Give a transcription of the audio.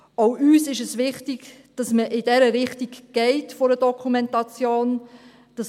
Auch uns ist es wichtig, dass man in Richtung einer Dokumentation geht.